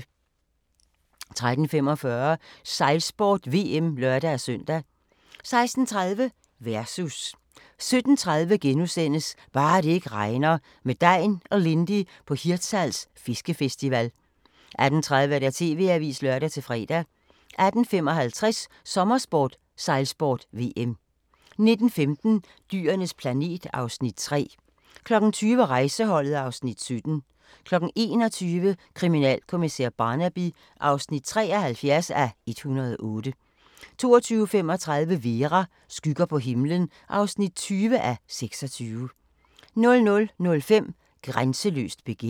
13:45: Sejlsport: VM (lør-søn) 16:30: Versus 17:30: Bare det ikke regner – med Degn og Lindy på Hirtshals Fiskefestival * 18:30: TV-avisen (lør-fre) 18:55: Sommersport: Sejlsport - VM 19:15: Dyrenes planet (Afs. 3) 20:00: Rejseholdet (Afs. 17) 21:00: Kriminalkommissær Barnaby (73:108) 22:35: Vera: Skygger på himlen (20:26) 00:05: Grænseløst begær